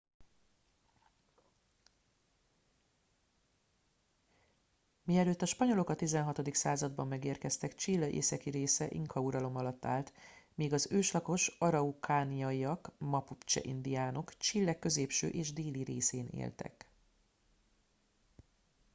mielőtt a spanyolok a 16. században megérkeztek chile északi része inka uralom alatt állt míg az őslakos araucaniaiak mapucse indiánok chile középső és déli részén éltek